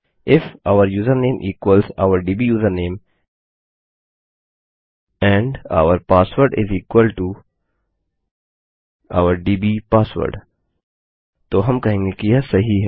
if और username equals और दब् यूजरनेम एंड और पासवर्ड इस इक्वल टो और दब् पासवर्ड तो हम कहेंगे कि यह सही है